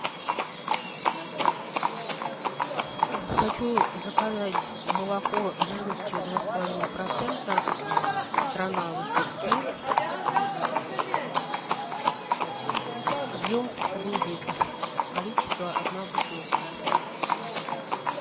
хочу заказать молоко жирностью два с половиной процента страна васильки объем один литр количество одна бутылка